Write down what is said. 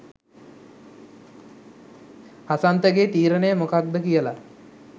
හසන්තගේ තීරණය මොකක්ද කියලා